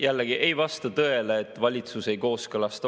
Jällegi ei vasta tõele, et valitsus ei kooskõlasta.